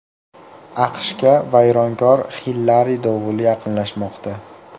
AQShga vayronkor Hillari dovuli yaqinlashmoqda.